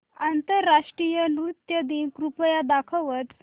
आंतरराष्ट्रीय नृत्य दिन कृपया दाखवच